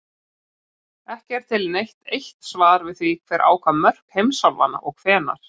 Ekki er til neitt eitt svar við því hver ákvað mörk heimsálfanna og hvenær.